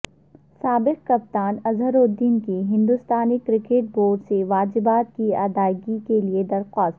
سابق کپتان اظہر الدین کی ہندوستانی کرکٹ بورڈ سے واجبات کی ادائیگی کیلئے درخواست